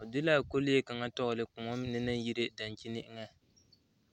o de l,a kɔlee kaŋ tɛgle koɔ naŋ yire dankyini eŋɛ.